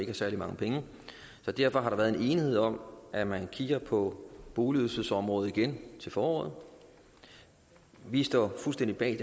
har særlig mange penge så derfor har der været enighed om at man kigger på boligydelsesområdet igen til foråret vi står fuldstændig bag